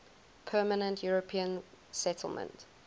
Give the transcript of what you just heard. permanent european settlement